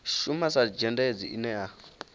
shuma sa zhendedzi ine a